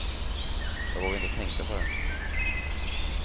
Jag vågar inte tänka på det.